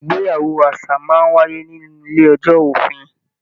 Ìgbéyàwó àṣà máa n wáyé nínú ilé-ẹjọ́ òfin.